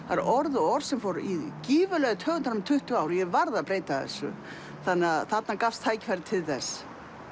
það er orð og orð sem fór gífurlega í taugarnar á mér í tuttugu ár og ég varð að breyta þessu þannig að þarna gafst tækifæri til þess